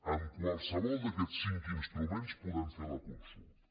amb qualsevol d’aquests cinc instruments podem fer la consulta